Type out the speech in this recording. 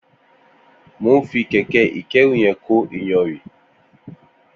Mó n fi kẹkẹ ikẹ̀rú yẹn kó iyànrín